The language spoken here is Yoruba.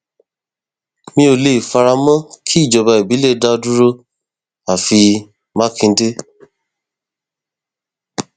mi ò lè fara mọ kí ìjọba ìbílẹ dá dúró àfi mákindé